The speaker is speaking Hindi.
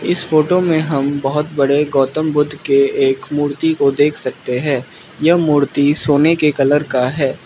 इस फोटो में हम बहोत बड़े गौतम बुद्ध के एक मूर्ति को देख सकते हैं यह मूर्ति सोने के कलर का है।